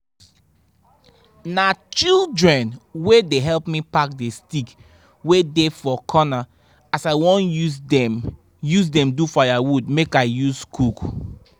na children dey help me pack the stick wey dey for corner as i won use dem use dem do firewood make i use cook